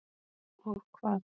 Og hvað.